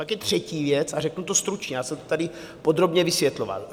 Pak je třetí věc, a řeknu to stručně, já jsem to tady podrobně vysvětloval.